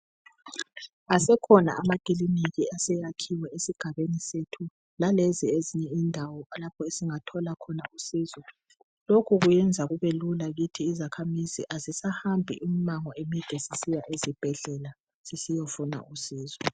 Asekhona amakiliniki aseyakhiwe esigabeni sethu. Lalezi ezinye indawo lapho esingathola khona usizo. Lokhu kwenza kumbe lula kithi izakhamizi ngoba asisahambi imango emide sisiya ezibhedlela sisiyafuna usizo.